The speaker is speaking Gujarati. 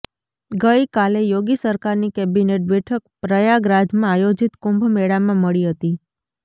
ગઈ કાલે યોગી સરકારની કેબિનેટ બેઠક પ્રયાગરાજમાં આયોજિત કુંભ મેળામાં મળી હતી